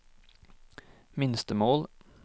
minstemål